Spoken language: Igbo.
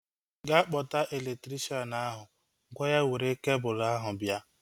Ga kpọta elektrikshan ahu! Gwa ya were kebul ahu bịa